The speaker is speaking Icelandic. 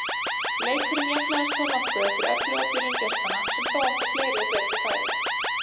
Leikurinn jafnaðist þó nokkuð eftir öfluga byrjun gestanna sem þó áttu fleiri og betri færi.